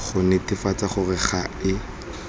go netefatsa gore ga e